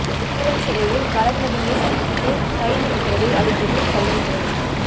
சேலம் சிறையில் வளர்மதியை சந்தித்து கைது உத்தரவை அளித்தது சென்னை போலீஸ்